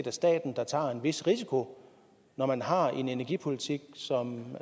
er staten der tager en vis risiko når man har en energipolitik som